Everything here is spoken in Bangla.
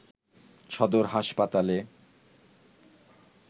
সদর হাসপাতালে